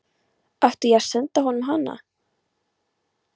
Átti ég að senda honum hana?